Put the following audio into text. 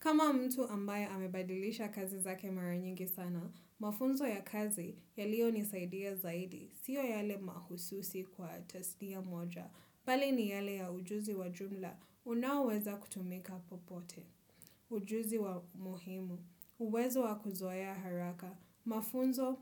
Kama mtu ambaye amebadilisha kazi zake mara nyingi sana, mafunzo ya kazi yaliyo nisaidia zaidi, siyo yale mahususi kwa testia moja. Bali ni yale ya ujuzi wa jumla, unaoweza kutumika popote, ujuzi wa muhimu, uwezo wa kuzoea haraka, mafunzo